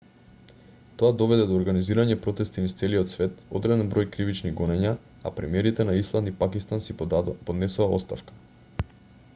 тоа доведе до организирање протести низ целиот свет одреден број кривични гонења а премиерите на исланд и пакистан си поднесоа оставка